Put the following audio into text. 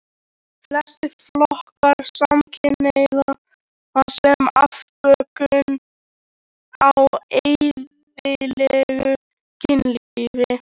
Flestir flokka samkynhneigð sem afbökun á eðlilegu kynlífi.